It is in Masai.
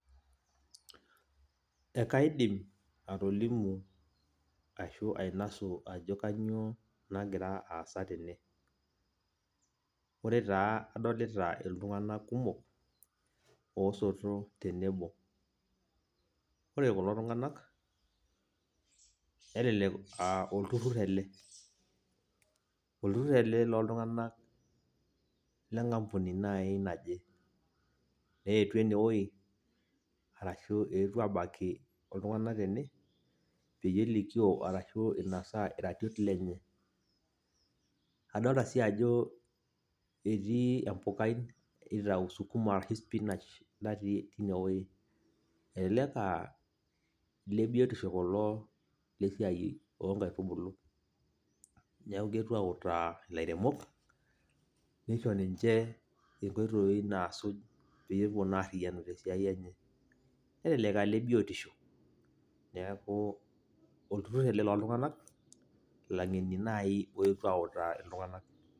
Ekaidim atolimu ashu ainasu ajo kanyioo nagira aasa tene. Ore taa adolita iltung'anak kumok, osoto tenebo. Ore kulo tung'anak, nelelek ah olturrur ele. Olturrur ele loltung'anak lenkampuni nai naje. Neetuo enewoi, arashu eetuo abaki iltung'anak tene, peyie elikio arashu inasaa iratiot lenye. Adolta si ajo etii empukai nitau sukuma arashu spinach natii inewoi. Elelek ah lebiotisho kulo lesiai onkaitubulu. Neeku keetuo autaa ilairemok, nisho ninche inkoitoii naasuj peyei epuo naa arriyianu naa tesiai enye. Nelelek ah lebiotisho, neeku olturrur ele loltung'anak, ilang'eni nai oetuo autaa iltung'anak.